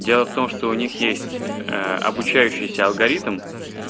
дело в том что у них есть обучающийся алгоритм